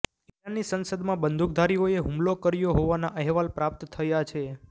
ઈરાનની સંસદમાં બંદૂકધારીઓએ હુમલો કર્યો હોવાના અહેવાલ પ્રાપ્ત થયા છે